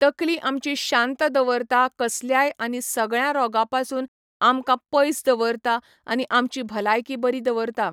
तकली आमची शांत दवरता कसल्याय आनी सगळ्यां रोगा पासून आमकां पयस दवरता, आनी आमची भलायकी बरी दवरता